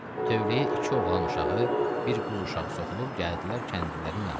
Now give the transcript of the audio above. Tövləyə iki oğlan uşağı, bir qız uşağı soxulub gəldilər kəndlilərin yanına.